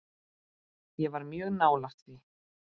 Ég var mjög nálægt því.